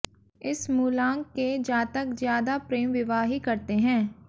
इस मूलांक के जातक ज्यादा प्रेम विवाह ही करते हैं